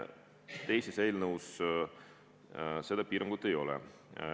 Teises eelnõus seda piirangut ei ole.